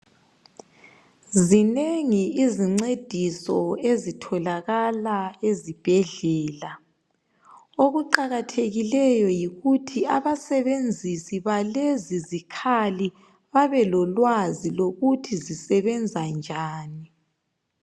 Zinengi izincediso ezitholakala esibhedlela, okuqakathekileyo yikuthi abasebenzisi balezi zikhali babe lolwazi lokuthi zisebenza njani.